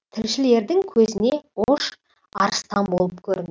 тілшілердің көзіне ош арыстан болып көрін